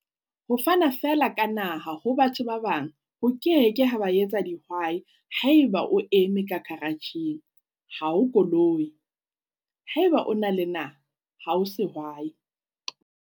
Ho fana feela ka naha ho batho ba bang ho ke ke ha ba etsa dihwaihaeba o eme ka karatjheng, ha o koloi! Haeba o na le naha, ha o sehwai.